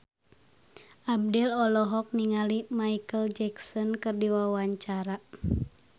Abdel olohok ningali Micheal Jackson keur diwawancara